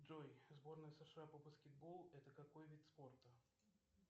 джой сборная сша по баскетболу это какой вид спорта